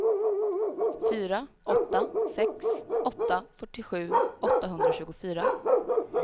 fyra åtta sex åtta fyrtiosju åttahundratjugofyra